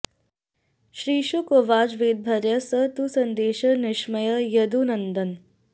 श्रीशुक उवाच वैदर्भ्याः स तु सन्देशं निशम्य यदुनन्दनः